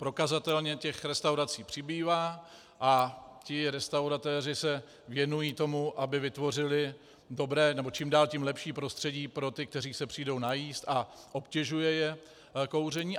Prokazatelně těch restaurací přibývá a ti restauratéři se věnují tomu, aby vytvořili dobré nebo čím dál tím lepší prostředí pro ty, kteří se přijdou najíst a obtěžuje je kouření.